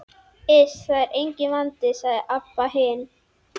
Iss, það er enginn vandi, sagði Abba hin.